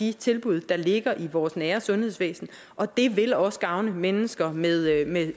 de tilbud der ligger i vores nære sundhedsvæsen og det vil også gavne mennesker med